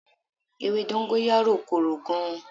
Ewé dọ́ńgóráyò korò gan.